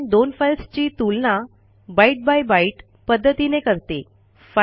ही command दोन फाईल्सची तुलना बायट बाय byteपध्दतीने करते